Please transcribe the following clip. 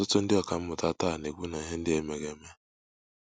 Ọtụtụ ndị ọkà mmụta taa na - ekwu na ihe ndị a emeghị eme.